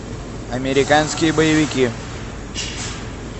американские боевики